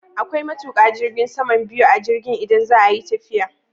Akwai matuƙa jirgin sama biyu a jirgin idan za a yi tafiya